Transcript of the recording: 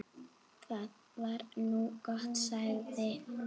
Það var nú gott, sagði